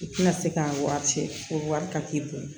I tina se k'a wari ci o wari ka t'i bolo